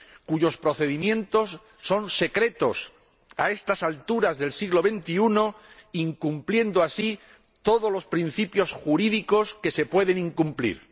cuyos procedimientos son secretos, a estas alturas del siglo XXI, incumpliendo así todos los principios jurídicos que se pueden incumplir.